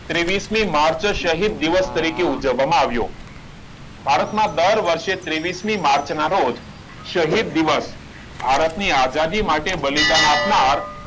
ત્રેવીસ મી માર્ચ શહીદ દિવસ તરીકે ઉજવવામાં આવ્યો ભારત માં દર વર્ષે ત્રેવીસ મી માર્ચ ના રોજ શહીદ દિવસ ભારત ની આઝાદી માટે બલિદાન આપનાર